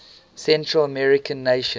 central american nations